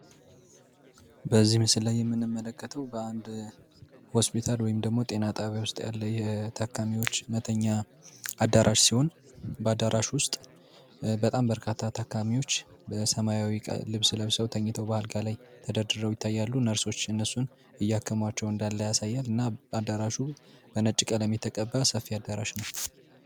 በዚህ ምስል ላይ የምንመለከተው በአንድ ሆስፒታል ወይም ደግሞ ጤና ጣቢያ ውስጥ ያካሚዎች መተኛ አዳራሽ ሲሆን በአዳራሾች ውስጥ በጣም በርካታ ተጠቃሚዎች በሰማያዊ ልብስ ለብሰው ተኝተው ላይ ተደርድረው ይታያሉ ነርሶች እነሱን እያከማቸው እንዳለ ያሳያል እና በአዳራሹ በነጭ ቀለም የተቀጣ ሰፊ አዳራሽ ነው